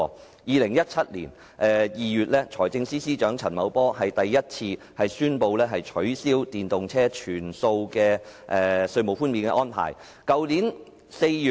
在2017年2月，財務司司長陳茂波首次宣布取消電動車的全數稅務寬免安排。